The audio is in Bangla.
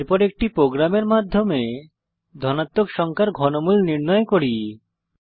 এরপর একটি প্রোগ্রামের মাধ্যমে ধনাত্মক সংখ্যার ঘনমূল নির্ণয় করি